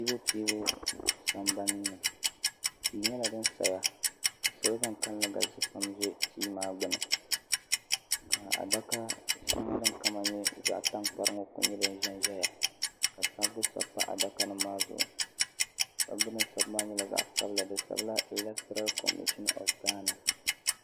piibupiibu sambani tia nyɛla din saya ka salo bankanli galisi pam zi tia maa gbuni ka dala shɛŋa din kama nyɛ zaɣi tankpari ŋɔ ku nyɛ din zi n ziya ka sabbu sabi npa adaka nim maa zuɣu sabibu din sabi maa nyɛla zaɣa sabila elatra comishin ovi gana.